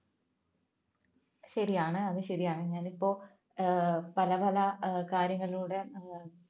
ശരിയാണ് അത് ശരിയാണ് ഞാനിപ്പോ പല പല കാര്യങ്ങളിലൂടെ ഏർ